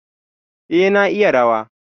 A, na iya rawa.